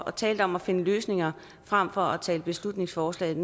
talte om at finde løsninger frem for at tale beslutningsforslaget